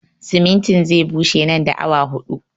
Simintin zai bushe nan da awa huɗu